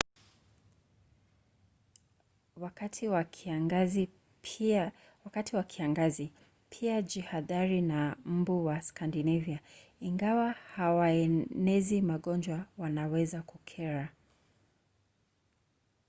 wakati wa kiangazi pia jihadhari na mbu wa skandinavia. ingawa hawaenezi magonjwa wanaweza kukera